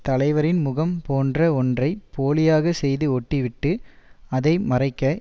தலைவரின் முகம் போன்ற ஒன்றை போலியாக செய்து ஒட்டிவிட்டு அதை மறைக்க